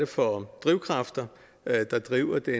for drivkræfter der driver den